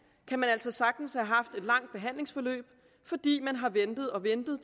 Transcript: kan man altså sagtens have haft et langt behandlingsforløb fordi man har ventet og ventet